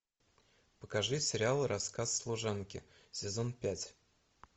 покажи сериал рассказ служанки сезон пять